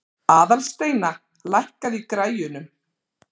Aðalsteina, lækkaðu í græjunum.